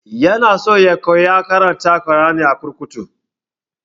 Ya na so ya koya karanta kur'ani a kurkuku